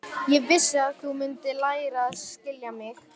En svo klemmdi hann aftur augun.